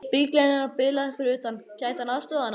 Bíllinn hennar bilaði fyrir utan, gæti hann aðstoðað hana?